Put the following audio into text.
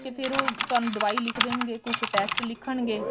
ਤੇ ਫੇਰ ਉਹ ਤੁਹਾਨੂੰ ਦਵਾਈ ਲਿਖ ਦੇਣਗੇ ਕੁੱਛ test ਲਿਖਣਗੇ